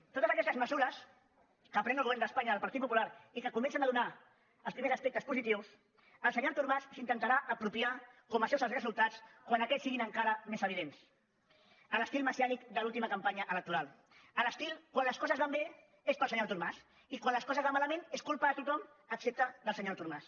de totes aquestes mesures que pren el govern d’espanya del partit popular i que comencen a donar els primers aspectes positius el senyor artur mas se n’intentarà apropiar com a seus els resultats quan aquests siguin encara més evidents a l’estil messiànic de l’última campanya electoral a l’estil quan les coses van bé és pel senyor artur mas i quan les coses van malament és culpa de tothom excepte del senyor artur mas